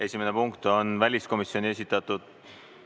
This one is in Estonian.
Esimene punkt on väliskomisjoni esitatud ...